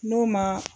N'o ma